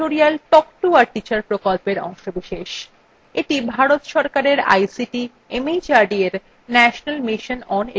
এটি ভারত সরকারের ict mhrd এর national mission on education দ্বারা সমর্থিত